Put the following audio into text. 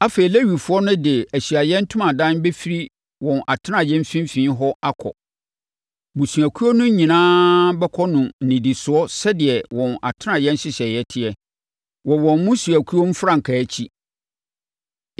Afei Lewifoɔ no de Ahyiaeɛ Ntomadan bɛfiri wɔn atenaeɛ mfimfini hɔ akɔ. Mmusuakuo no nyinaa bɛkɔ no nnidisoɔ sɛdeɛ wɔn atenaeɛ nhyehyɛeɛ teɛ, wɔ wɔn mmusuakuo mfrankaa akyi.